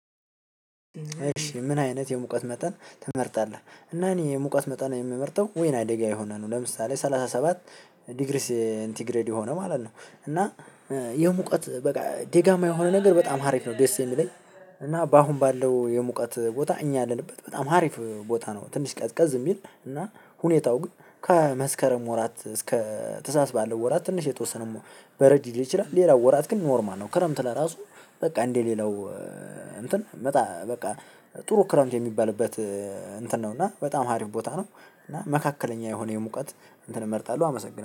እሺ ምን አይነት የሙቀት መጠን ትመርጣለህ? እና እኔ የሙቀት መጠን የምመርጠው ወይና አደጋ የሆነ ነው ለምሳሌ ሰላሳ ሰባት ዲግሪስ ሴንቲግሬድ የሆነ ማለት ነው። እና የሙቀት በቃ ደጋማ የሆነ ነገር በጣም አሪፍ ነው ደስ የሚለኝ። እና በአሁን ባለው የሙቀት ቦታ እኛ ያለንበት በጣም አሪፍ ቦታ ነው። ትንሽ ቀዝቀዝ የሚል እና ሁኔታው ግን ከመስከረም ወራት እስከ ታህሳስ ባለው ወራት ትንሽ የተወሰነ በረድ ልትችል ሌላው ወራት ግን ኖርማል ነው። ክረምት ለራሱ በቃ እንዴ ሌላው እንትን በጣም በቃ ጥሩ ክረምት የሚባልበት እንትን ነው። እና በጣም አሪፍ ቦታ ነው። እና መካከለኛ የሆነ የሙቀት እንትን እመርጣለሁ አመሰግናለሁ